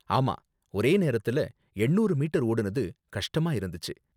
ஆமா, ஒரே நேரத்துல எண்ணூறு மீட்டர் ஓடுனது கஷ்டமா இருந்துச்சு.